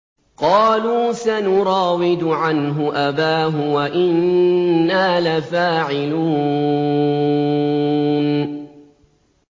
قَالُوا سَنُرَاوِدُ عَنْهُ أَبَاهُ وَإِنَّا لَفَاعِلُونَ